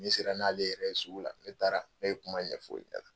Ne sera n'ale yɛrɛ ye sugu la, ne taara, ne ye kuma ɲɛfɔ o ɲɛna.